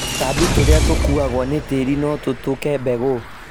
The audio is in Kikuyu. Tũtambi tũrĩa tũkuagwo nĩ tĩri notũthũke mbegũ